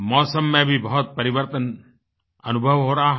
मौसम में भी बहुत परिवर्तन अनुभव हो रहा है